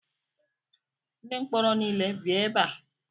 Ndi mkpọrọ niile bịa ebe a!